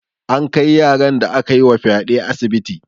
An kai yaran da akayi wa fyaɗe asibiti.